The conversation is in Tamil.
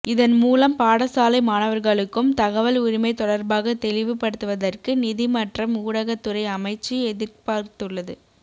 இதன் மூலம் பாடசாலை மாணவர்களுக்கும் தகவல் உரிமை தொடர்பாக தெளிவுபடுத்துவதற்கு நிதி மற்றம் ஊடகத்துறை அமைச்சு எதிர்பார்த்துள்ளது